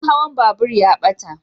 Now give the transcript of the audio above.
Kudin hawan babur ya ɓata